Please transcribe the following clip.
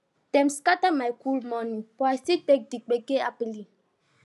dem scatter my cool morning but i still take di gbege happily